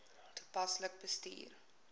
toepaslik bestuur